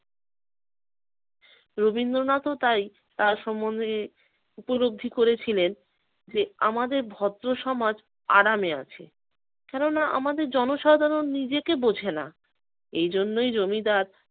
রবীন্দ্রনাথও তাই তার সম্বন্ধে উপলব্ধি করেছিলেন যে আমাদের ভদ্রসমাজ আরামে আছে কেননা আমাদের জনসাধারণ নিজেকে বোঝেনা, এই জন্যই জমিদার